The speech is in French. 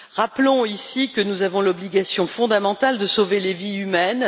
Rappelons ici que nous avons l'obligation fondamentale de sauver des vies humaines.